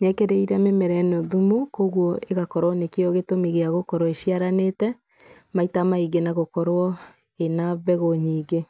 nĩ ekĩrĩire mĩmera yake thumu, koguo ĩgakorwo nĩkĩo gĩtũmi gĩa gũkorwo ĩciaranĩte, maita maingĩ na gũkorwo ĩna mbegũ nyingĩ.